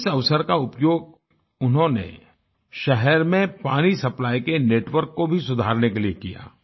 इस अवसर का उपयोग उन्होंने शहर में पानी सप्लाई के नेटवर्क को भी सुधारने के लिए किया